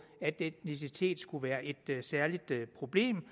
at etnicitet skulle være et særligt problem